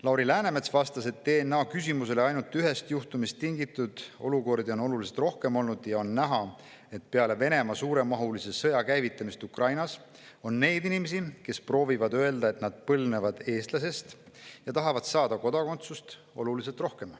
Lauri Läänemets vastas DNA kohta esitatud küsimusele, et neid olukordi on oluliselt rohkem olnud ja on näha, et peale Venemaa suuremahulise sõja käivitumist Ukrainas on neid inimesi, kes proovivad öelda, et nad põlvnevad eestlasest, ja tahavad saada kodakondsust, oluliselt rohkem.